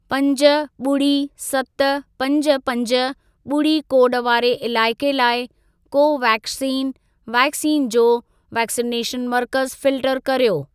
पंज, ॿुड़ी, सत, पंज, पंज, ॿुड़ी कोड वारे इलाइके लाइ कोवेक्सीन वैक्सीन जो वैक्सिनेशन मर्कज़ फिल्टर कर्यो।